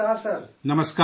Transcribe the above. نمسکار جی!